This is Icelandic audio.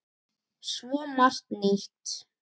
Svo margt nýtt.